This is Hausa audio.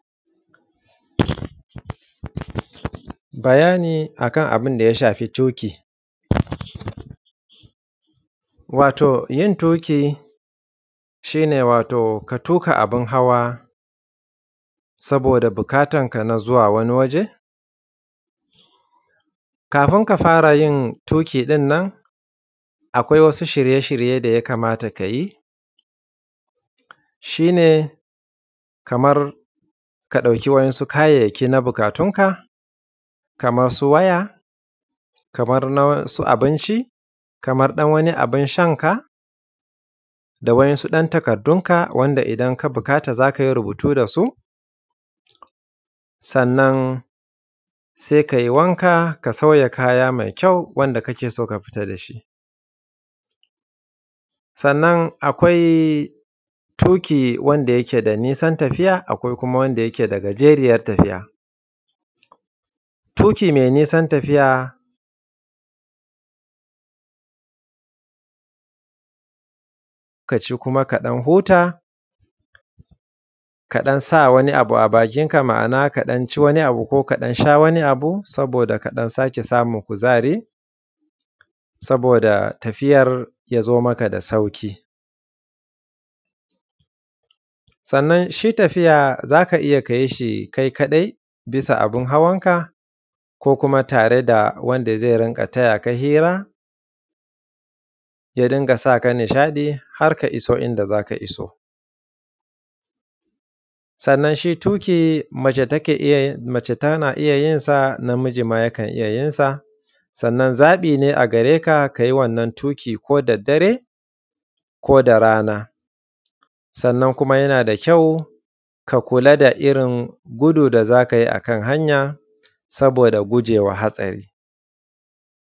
Bayani akan abinda ya shafi toƙi. Wato yin toki shi ne wato ka tuƙa abin hawa saboda buƙatanka na zuwa wani waje. Kafin ka fara yin tuƙi din nan akwai wasu shirye-shirye daya kamata kayi shi ne, kamar ka dauki wasu kayayyaki na buƙatunka, kamar su waya, kamar na wasu abinci, kamar ɗan wani abin shanka, da wasu ‘yan takardunka wanda idan ka bukata zakai rubutu da su, sannan sai kai wanka ka sauya kaya mai kyau wanda kake so ka fita dashi. Sannan akwai tuƙi wanda yake da nisan tafiya, akwai kuma wanda yake da gajeriyar tafiya. Tuki mai nisan tafiya kaci kuma ka ɗan huta, kaɗan sa wani abu a bakinka, ma’ana ka ɗan ci wani abu ko kasha ɗan wani abu saboda ka ɗan sake samun kuzari, saboda tafiyar ya zo maka da sauƙi. Sannan shi tafiya zaka iya kayi shi kai ka dai, bisa abin hawanka ko kuma tare da wanda zai raka ka, ya tayaka hira, ya dinga saka nishaɗi har ka iso inda zaka iso. Sannan shi tuƙi mace take iya, mace tana iya yinsa, namiji ma yakan iya yinsa. Sannan zaɓi ne gareka kayi wannan tuƙin ko da dare ko da rana, sannan kuma yana da kyau ka kula da irin gudu da zaka yi akan hanya, saboda gujewa hatsari.